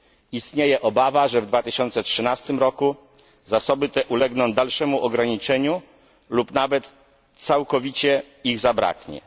Istnieje obawa, że w 2013 roku zasoby te ulegną dalszemu ograniczeniu lub nawet całkowicie ich zabraknie.